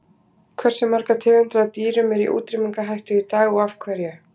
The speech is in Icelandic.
Hversu margar tegundir af dýrum eru í útrýmingarhættu í dag og af hverju?